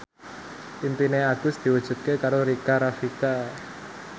impine Agus diwujudke karo Rika Rafika